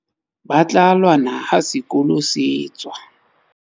ba tla lwana ha sekolo se tswa